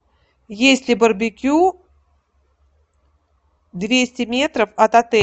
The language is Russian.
есть ли барбекю двести метров от отеля